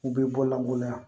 U bɛ bɔ lankolonya